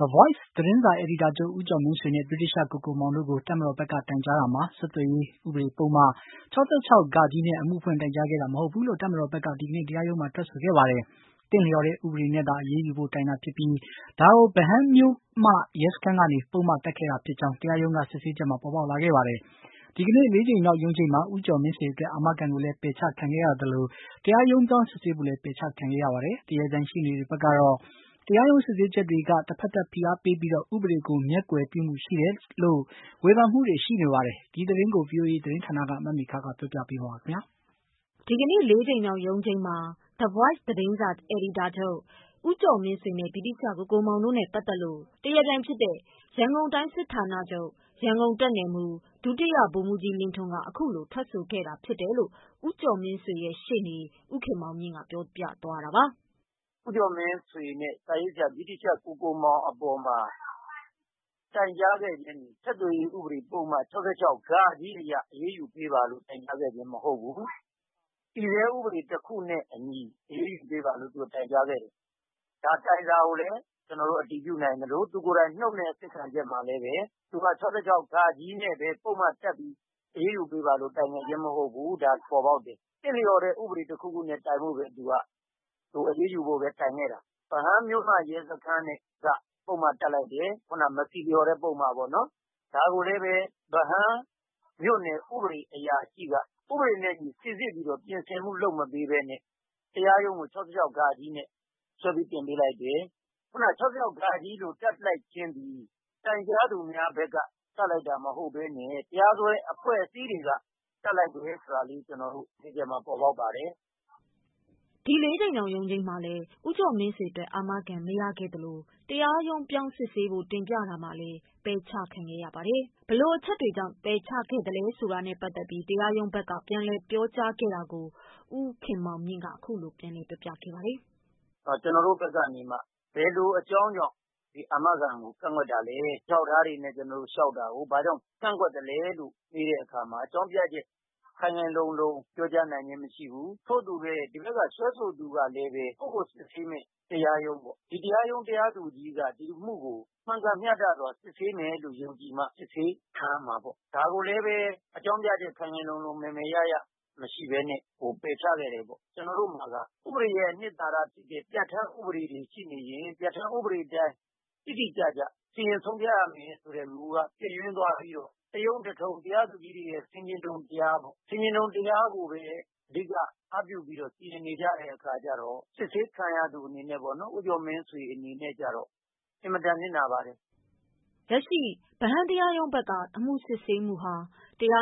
The Voice သတင်းစာ အယ်ဒီတာချုပ် ဦးကျော်မင်းဆွေနဲ့ ဗြိတိသျှကိုကိုမောင်တို့ကို တပ်မတော်ဘက်က တိုင်ကြားတာမှာ ဆက်သွယ်ရေးဥပဒေပုဒ်မ ၆၆ နဲ့အမှုဖွင့် တိုင်ကြားခဲ့တာ မဟုတ်ဘူးလို့ တပ်မတော်ဘက်ကဒီကနေ့တရားရုံးမှာထွက်ဆိုခဲ့ပါတယ်။ သင့်လျှော်တဲ့ဥပဒေနဲ့သာ အရေးယူဖို့တိုင်တာဖြစ်ပြီးဒါကို ဗဟန်းမြို့မရဲစခန်းကဘဲ ပုဒ်မတပ်ခဲ့တာဖြစ်ကြောင်း တရားရုံးကစစ်ဆေးချက်မှာပေါ်ပေါက်လာခဲ့ပါတယ်။ ဒီကနေ့ ၄ကြိမ်မြောက်ရုံးချိန်းမှာ ဦးကျော်မင်းဆွေအတွက်အာမခံကိုလည်းပယ်ချခံခဲ့ရသလို တရားရုံးပြောင်းစစ်ဆေးဖို့လည်းပယ်ချခံခဲ့ရပါတယ်။ တရားပြိုင်ရှေ့နေတွေကတော့ တရားရုံးစစ်ဆေးချက်တွေက တဖက်သတ်ဖိအားပေးပြီး ဥပဒေကိုမျက်ကွယ်ပြုမှုတွေရှိ တယ်လို့ ဝေဖန်မှုတွေရှိနေပါတယ်။ ဒီသတင်းကိုဗွီအိုအေသတင်းဌာနက မေခကပြောပြပေးမှာပါ။ ဒီကနေ့ ၄ကြိမ်မြောက် ရုံးချိန်းမှာ The Voice သတင်းစာ အယ်ဒီတာချုပ် ဦးကျော်မင်းဆွေနဲ့ ဗြိတိသျှကိုကိုမောင်တို့နဲ့ပတ်သတ်လို့ တရားပြိုင် ရန်ကုန်တိုင်းစစ်ဌာနချုပ်၊ ရန်ကုန်တပ်နယ်မှူး ဒုတိယဗိုလ်မှူးကြီးလင်းထွန်းက အခုလိုထွက်ဆိုခဲ့တယ်လို့ ဦးကျော်မင်းဆွေရှေ့နေ ဦးခင်မောင်မြင့်ကပြောသွားတာပါ. "ဦးကျော်မင်းဆွေနဲ့ စာရေးဆရာဗြိတိသျှကိုကိုမောင် တိုင်ကြားခဲ့ခြင်းမှာ ဆက်သွယ်ရေး ဥပဒေ ပုဒ်မ ၆၆ဃအရ အရေးယူပေးပါလို့ တိုင်ကြားခဲ့ခြင်းမဟုတ်ဘူး။ တည်ဆဲ ဥပဒေတခုနဲ့အညီ အရေးယူပေးပါလို့ တိုင်ကြားခဲ့တယ် ဒါတိုင်စာကိုလည်း အတည်ပြုနိုင်ခဲ့သလို သူ့ရဲ့နှုတ်နဲ့ အစစ်ခံချက်မှာလည်း သူက ၆၆ ဃနဲ့ပဲ ပုဒ်မတပ်ပြီး အရေးယူပေးပါလို့ တိုင်တဲ့အကြောင်း ပေါ်ပေါက်တယ်။ သင့်လျော်တဲ့ဥပဒေတခုခုနဲ့ပဲ တိုင်ဖို့ပဲ သူက။ အရေးယူဖို့ပဲ တိုင်ခဲ့တာ။ ဗဟန်းမြို့မရဲစခန်းဘက်က ပုဒ်မ တပ်လိုက်တယ်။ မဆီလျော်တဲ့ပုဒ်မပေါ့နော် ဒါကိုလည်းပဲ ဗဟန်းမြို့နယ် ဥပဒေအရာရှိက ဥပဒေနဲ့အညီ စိစစ်ပြီး ပြင်ဆင်မှု လုပ်မပေးပဲ တရားရုံးကို ၆၆ဃနဲ့ စွဲပြီးတော့ တင်ပေးလိုက်တယ်။ ခုနက ၆၆ဃလို့ တပ်ပစ်လိုက်ခြင်းသည် တိုင်ကြားသူများဘက်က တပ်လိုက်တာမဟုတ်ပဲနဲ့ တရားစွဲအဖွဲ့အစည်းတွေက တပ်လိုက်တယ်ဆိုတာမျိုး တရားခွင်မှာ ပေါ်ပေါက်ပါတယ်။" ဒီကနေ့ ၄ကြိမ်မြောက်ရုံးချိန်းမှာ ဦးကျော်မင်းဆွေအတွက် အာမခံကိုလည်း ပယ်ချခံခဲ့ရသလို တရားရုံးပြောင်းစစ်ဆေးဖို့လည်းပယ်ချခံခဲ့ရပါတယ်။ ပယ်ချခံရတဲ့ အကြောင်းနဲ့ ပတ်သတ်လို့ တရားရုံးဘက်ကပြန်လည်ဖြေရှင်းခဲ့တာနဲ့ပတ်သတ်လို့ ဦးခင်မောင်မြင့် ပြောပြတာက- " ကျနော်တို့ဘက်နေမှ ဘယ်လိုအကြောင်းကြောင့် အာမခံကို ကန့်ကွက်တာလည်း အထောက်အထားတွေနဲ့ ကျနော်တို့လျှောက်တာကို ဘာကြောင့် ကန့်ကွက်သလဲ လို့မေးတဲ့အခါမှာ အကြောင်းပြချက်ခိုင်ခိုင်လုံလုံ ပြောကြားနိုင်ခြင်းမရှိဘူး။ ထို့အတူပဲ ဒီဘက်ကို စွဲဆိုသူကလည်း ကိုယ့်ကိုစစ်ဆေးမယ့်တရားရုံးပေါ့။ ဒီတရားရုံး တရားသူကြီးက ဒီအမှုကို မှန်ကန်မျှတစွာ စစ်ဆေးမယ်လို့ယုံကြည်မှ စစ်ဆေးခံရမှာပေါ့ ဒါကိုလည်းပဲ အကြောင်းပြချက်ခိုင်ခိုင်လုံလုံ မယ်မယ်ရရ မရှိပဲနဲ့ ပယ်ချခဲ့တယ်ပေါ့။ ကျနော်တို့မှာက ဥပဒေရဲ့အနှစ်သာရ ပြဌာန်းဥပဒေတွေ ရှိနေရင် ပြဌာန်းဥပဒေအတိုင်း တိတိကျကျ စီရင်ဆုံးဖြတ်ရမယ်ဆိုတဲ့မူက ပျက်ယွင်းသွားပြီးတော့ တရုံးတထုံး။ တရားသူကြီးတွေရဲ့ ဆင်ခြင်တုံတရားကိုပဲ အဓိက အားပြုပြီးတော့ စီရင်နေကြတဲ့အခါကျတော့ စစ်ဆေးခံရသူအနေနဲ့ပေါ့နော်။ ဦးကျော်မင်းဆွေအနေနဲ့ကျတော့ အင်မတန် နစ်နာပါတယ်။" လက်ရှိဗဟန်းတရားရုံးဘက်က အမှုစစ်ဆေးမှုဟာ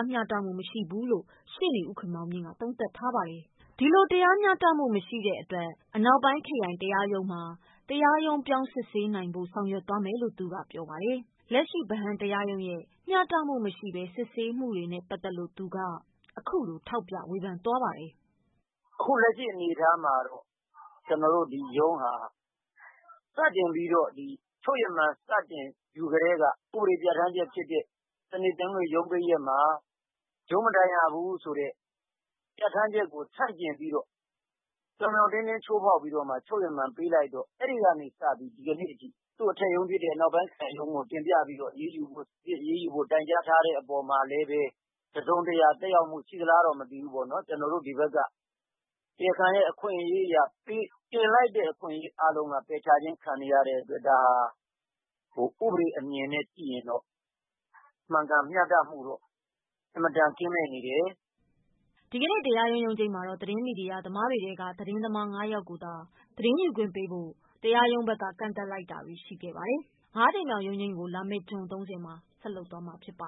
မျှတမှုမရှိဘူးလို့ ဦးခင်မောင်မြင့်က သုံးသပ်ပါတယ်။ နောက်တပါတ်မှာတော့ အနောက်ပိုင်းခရိုင်တရားရုံးမှာ တရားရုံးပြောင်းဖို့ဆောင်ရွက်မယ်လို့ သူကပြောပါတယ်။ လက်ရှိတရားရုံးမှာ အမှုစစ်ဆေးတာနဲ့ပတ်သက်လို့ သူက အခုလိုထောက်ပြဝေဖန်သွားပါတယ်။ "အခုလက်ရှိအနေအထားမှာတော့ ကျနော်တို့ဒီရုံးဟာ စတင်ပြီးတော့ ချုပ်ရမန်ယူကတည်းက ဥပဒေပြဌာန်းချက်ဖြစ်တဲ့ စနေ၊ တနင်္ဂနွေရုံးပိတ်ရက်မှာ ရုံးမထိုင်ရဘူးဆိုတဲ့ပြဌာန်းချက်ကို ဆန့်ကျင်ပြီးတော့ ပြောင်ပြောင်တင်းတင်း ချိုးဖောက်ပြီးတော့ ချုပ်ရမန်ပေးလိုက်တော့ အဲ့ဒီ့ကနေစပြီး ဒီကနေ့အထိ အထက်ရုံးဖြစ်တဲ့ အနောက်ပိုင်းခရိုင်ရုံးကို တင်ပြပြီးတော့ အရေးယူဖို့ တိုင်ကြားထားတဲ့အပေါ် မှာလည်းပဲ တစုံတရာသက်ရောက်မှုရှိသလားလို့ ကျနော်တို့ဒီဘက်က တရားခံရဲ့အခွင့်အရေးအရ တင်လိုက်တဲ့ဟာအားလုံးက ပယ်ချခြင်းခံနေရတဲ့အတွက် ဒါဟာ ဥပဒေအမြင်နဲ့ကြည့်ရင်တော့ မှန်ကန်မျှတမှုတော့ အင်မတန်ကင်းမဲ့နေတယ်။" ဒီကနေ့ တရားရုံးရုံးချိန်းမှာ သတင်းမီဒီယာသမားတွေထဲက သတင်းသမား ၅ယောက်ကိုသာ သတင်းယူခွင့်ပေးဖို့ တရားရုံးမှာ ကန့်သတ်လိုက်တာတွေရှိခဲ့ပါတယ်။ လာမယ့်၅ကြိမ်မြောက်ရုံးချိန်းကို လာမယ့် ဇွန် ၃၀မှာဆက်လုပ်မှာဖြစ်ပါ